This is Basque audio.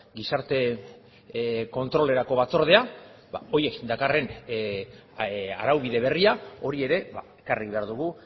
gizarte kontrolerako batzordea hori dakarren araubide berria hori ere ekarri behar dugu